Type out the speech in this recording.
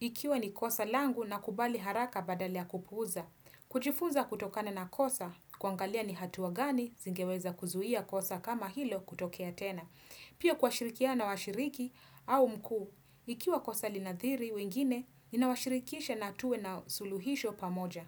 ikiwa ni kosa langu nakubali haraka badala ya kupuuza. Kujifunza kutokana na kosa, kuangalia ni hatua gani, zingeweza kuzuia kosa kama hilo kutokea tena. Pia kuashirikia na washiriki au mkuu, ikiwa kwa salinadhiri wengine, inawashirikisha na tuwe na suluhisho pamoja.